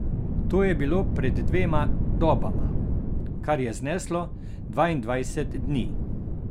To je bilo pred dvema dobama, kar je zneslo dvaindvajset dni.